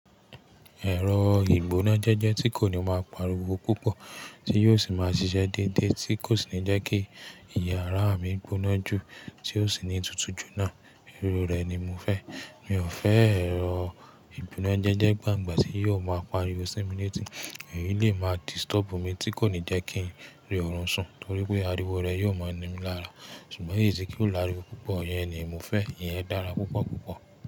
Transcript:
Ẹ̀rọ ìgbónájẹ́jẹ́ tí kò ní máa pariwo púpọ̀, tí yóò ṣì máa ṣiṣẹ́ dédé, tí kò sì ní jẹ́ kí iyàrá mi gbóná jù, tí ó ṣì ní tutù jù náà, irú rẹ̀ ni mo fẹ́. Mi ò fẹ́ ẹ̀rọ ìgbónájẹ́jẹ́ gbangba tí yóò máa pariwo sí mi létí. Ẹ̀yi lè máa disturb mi tí kò ní jẹ́ kí ń rí ọ̀run sùn, torí pé ariwo rẹ̀ yóò máa ní mí lára. Ṣùgbọ́n èyí tí kò láriwo púpọ̀, iyẹn ni mo fẹ́. Ìyẹn dára púpọ̀ púpọ̀.